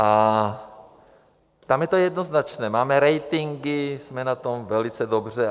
A tam je to jednoznačné, máme ratingy, jsme na tom velice dobře.